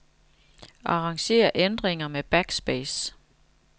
Arranger ændringer med backspace.